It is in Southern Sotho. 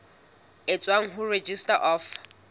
e tswang ho registrar of